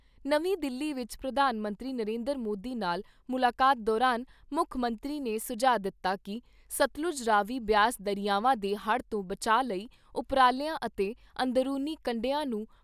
ਨਵੀਂ ਦਿੱਲੀ ਵਿਚ ਪ੍ਰਧਾਨ ਮੰਤਰੀ ਨਰਿੰਦਰ ਮੋਦੀ ਨਾਲ ਮੁਲਾਕਾਤ ਦੌਰਾਨ ਮੁੱਖ ਮੰਤਰੀ ਨੇ ਸੁਝਾਅ ਦਿੱਤਾ ਕਿ ਸਤਲੁੱਜ, ਰਾਵੀ, ਬਿਆਸ ਦਰਿਆਵਾਂ ਦੇ ਹੜ੍ਹ ਤੋਂ ਬਚਾਅ ਲਈ ਉਪਰਾਲਿਆਂ ਅਤੇ ਅੰਦਰੂਨੀ ਕੰਢਿਆਂ ਨੂੰ